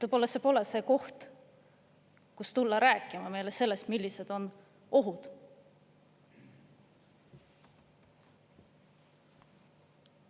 Võib-olla see pole see koht, kus tulla rääkima meile sellest, millised on ohud.